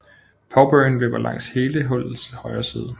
Pow Burn løber langs hele hullets højre side